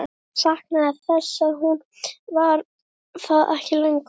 Hann saknaði þess að hún var það ekki lengur.